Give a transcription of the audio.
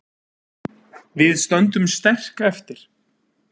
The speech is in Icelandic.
Við stöndum sterk eftir